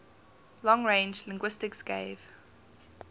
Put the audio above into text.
long range linguistics gave